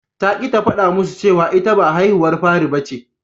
Ta ƙi ta faɗa musu cewa ita ba haihuwar fari bace.